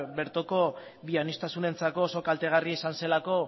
bertoko bioaniztasunerako oso kaltegarria izan zelako